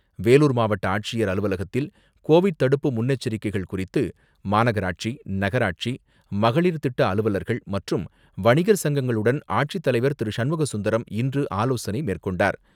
வேலூர் மாவட்ட ஆட்சியர் அலுவலகத்தில் கோவிட் தடுப்பு முன்னெச்சரிக்கைகள் குறித்து, மாநகராட்சி, நகராட்சி, மகளிர் திட்ட அலுவலர்கள், மற்றும் வணிகர் சங்கங்களுடன் ஆட்சித்தலைவர் திரு.சண்முக சுந்தரம் இன்று ஆலோசனை மேற்கொண்டார்.